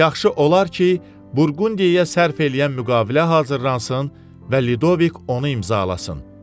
Yaxşı olar ki, Burqundiyaya sərf eləyən müqavilə hazırlansın və Lidovik onu imzalasın.